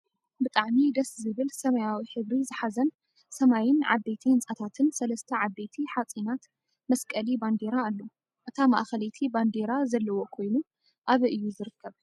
ብጣዕሚ ደስ ዝብል ሰማያዊ ሕብሪ ዝሓዘን ሰማይን ዓበይቲ ህንፃታትን ሰለስተ ዓበይቲ ሓፂናት መስቀሊ ባንዴራ ኣሎ። እታ ማእከለይቲ ባንዴራ ዘለዎ ኮይኑ ኣበይ እዩ ዝርከብ?